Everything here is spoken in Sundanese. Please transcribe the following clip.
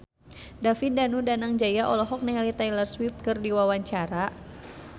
David Danu Danangjaya olohok ningali Taylor Swift keur diwawancara